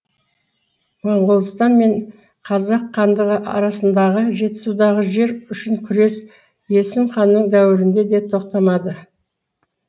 монғолстан мен қазақ хандығы арасындағы жетісудағы жер үшін күрес есім ханның дәуірінде де тоқтамады